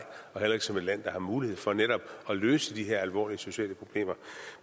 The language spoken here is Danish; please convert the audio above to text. og heller ikke som et land der har mulighed for netop at løse de her alvorlige sociale problemer